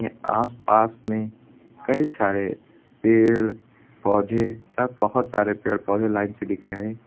आस पास में कई सारे पेड़ पौधे सब बहुत सारे पेड़ पौधे लाइन से दिख रहे हैं।